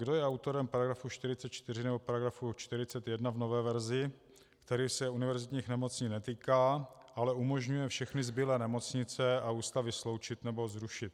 Kdo je autorem § 44 nebo § 41 v nové verzi, který se univerzitních nemocnic netýká, ale umožňuje všechny zbylé nemocnice a ústavy sloučit nebo zrušit?